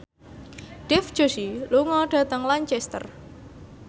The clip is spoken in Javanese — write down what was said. Dev Joshi lunga dhateng Lancaster